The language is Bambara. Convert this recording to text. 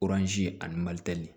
ani